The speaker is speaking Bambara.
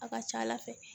A ka ca ala fɛ